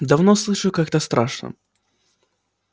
давно слышу и как-то страшно